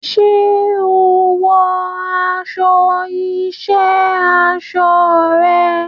Ṣé o wọ aṣọ iṣẹ́ aṣọ rẹ?